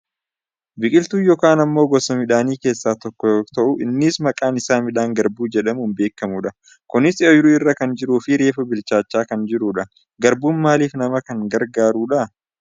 Biqiltuu yookaan ammoo gosa midhaanii keessaa tokko yoo ta'u innis maqaan isaa midhaan garbuu jedhamuun beekkamudha. Kunis ooyiruu irra kan jiruufi reefu bichaachaa kan jirudha. Garbuun maaliif nama kan gargaarudha?